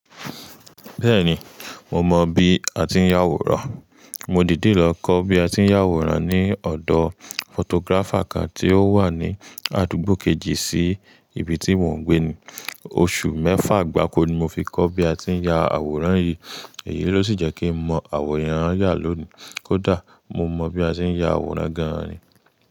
Bẹ́ẹ̀ni, mo mọ bí a ti ń yá àwòrán. Mo dìdí lọ kọ́ bí a ti ń yá àwòrán ní ọ̀dọ̀ photographer kan tí ó wà ní àdúgbò kejì sí ibi tí mò ń gbé ni. Oṣù mẹ́fà gbáko ni mo fi kọ́ bí a ti ń ya àwòrán yìí. Èyí ló sì jẹ́ kí ń mọ àwòrán ya lónìí. Kódà mo mọ bí a ti ń ya àwòrán gan ni.